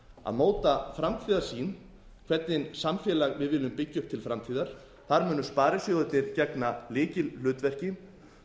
að móta framtíðarsýn hvernig samfélag við viljum byggja upp til framtíðar þar munu sparisjóðirnir gegna lykilhlutverki